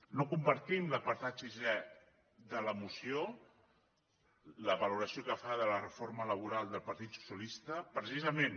no compartim l’apartat sisè de la moció la valoració que fa de la reforma laboral del partit socialista precisament